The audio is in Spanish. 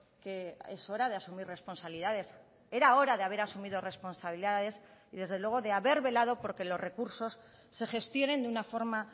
que es hora de asumir responsabilidades era hora de haber asumido responsabilidades y desde luego de haber velado porque los recursos se gestionen de una forma